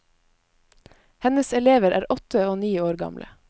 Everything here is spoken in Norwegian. Hennes elever er åtte og ni år gamle.